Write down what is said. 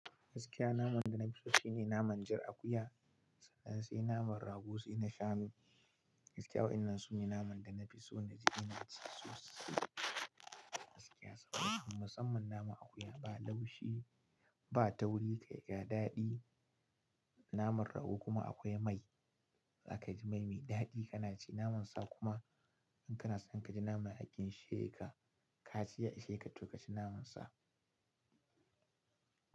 Gaskiya naman da nafi so shine naman jar akuya sannan sai naman rago sai na shanu. Gaskiya wainannan su ne naman da na fi so na ji ina ci su gaskiya saboda musamman naman akuya ba laushi, ba tauri, kai ga daɗi. Naman rago kuma akwai mai, za ka ji mai mai daɗi kana ci naman sa kuma in kana son ka ji naman ya ginsheka, kaci ya isheka to kaci naman sa.